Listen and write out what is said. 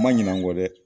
Ma ɲina kɔ dɛ